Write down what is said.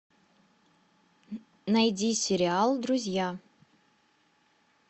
найди сериал друзья